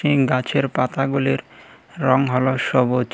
ইম গাছের পাতাগুলির রং হলো সবুজ।